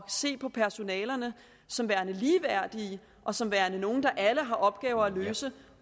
se på personalegrupperne som værende ligeværdige og som værende nogle der alle har opgaver at løse